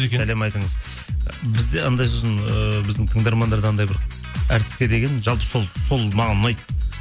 сәлем айтыңыз бізде анандай сосын ыыы біздің тыңдармандарда анандай бір әртіске деген жалпы сол маған ұнайды